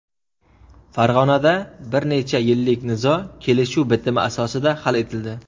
Farg‘onada bir necha yillik nizo kelishuv bitimi asosida hal etildi.